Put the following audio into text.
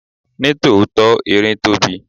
Ní tòótọ́, erin tóbi.